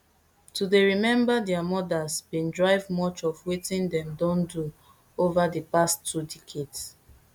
to dey remember dia mothers bin drive much of wetin dem don do over di past two decades